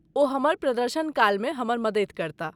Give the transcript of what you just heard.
ओ हमर प्रदर्शन काल मे हमर मदति करताह।